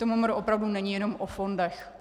To MMR opravdu není jenom o fondech.